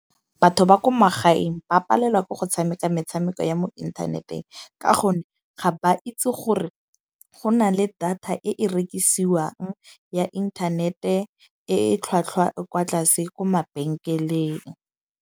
Batho ba ko magaeng ba palelwa ke go tshameka metshameko ya mo inthaneteng. Ka gonne ga ba itse gore go na le data e e rekisiwang ya inthanete, e tlhwatlhwa e kwa tlase ko mabenkeleng.